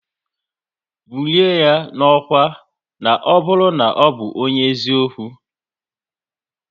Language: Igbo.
Bulie ya n'ọkwá na ọ bụrụ na ọbụ onye eziokwu!